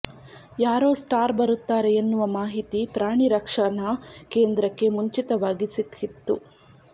ಯಾರೋ ಸ್ಟಾರ್ ಬರುತ್ತಾರೆ ಎನ್ನುವ ಮಾಹಿತಿ ಪ್ರಾಣಿ ರಕ್ಷಣಾ ಕೇಂದ್ರಕ್ಕೆ ಮುಂಚಿತವಾಗಿ ಸಿಕ್ಕಿತ್ತು